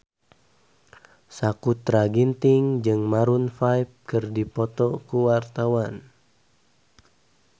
Sakutra Ginting jeung Maroon 5 keur dipoto ku wartawan